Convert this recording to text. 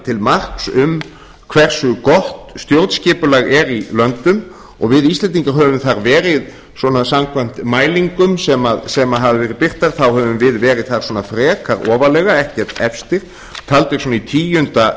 til marks um hversu gott stjórnskipulag er í löndum og við íslendingar höfum þar verið svona samkvæmt mælingum sem hafa verið birtar þá höfum við verið þar svona frekar ofarlega ekkert efstir taldir svona í tíunda